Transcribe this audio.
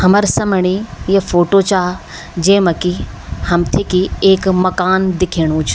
हमर समणी या फोटो चा जेमा की हमथे की एक मकान दिखेणु च।